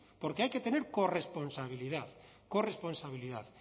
porque hay que tener corresponsabilidad corresponsabilidad